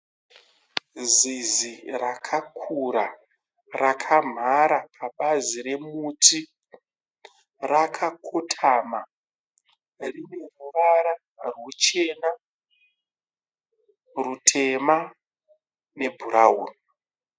Zizi rakakura rakamhara pabazi remuti. rakakotama, rine ruvara rwuchena, rwutema nebhurawuni.